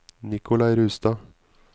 Nikolai Rustad